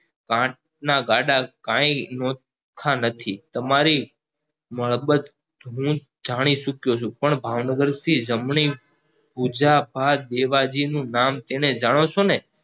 પંથ ના ગાળા કઈ નોખા નથી તમારી મડબત હું જાણી ચુક્યો છું પણ ભાવનગર થી જમણી ભુજભાથ દેવજી નું નામ તમે જાણો છો ને